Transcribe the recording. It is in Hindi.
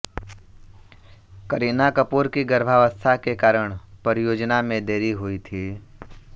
करीना कपूर की गर्भावस्था के कारण परियोजना में देरी हुई थी